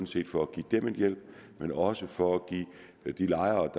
til for at give dem en hjælp men også for at give de lejere